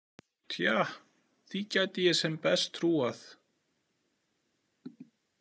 Tja, því gæti ég sem best trúað.